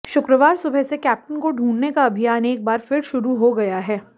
शुक्रवार सुबह से कैप्टन को ढूंढने का अभियान एक बार फिर शुरू हो गया है